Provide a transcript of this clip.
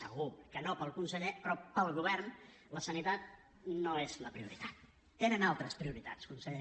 segur que no per al conseller però per al govern la sanitat no és la prioritat tenen altres prioritats conseller